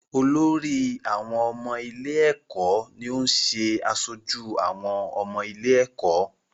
Olórí àwọn ọmọ ilé-ẹ̀kọ́ ni ó ń ṣe aṣojú àwọn ọmọ ilé-ẹ̀kọ́.